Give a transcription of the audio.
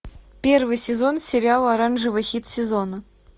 первый сезон сериала оранжевый хит сезона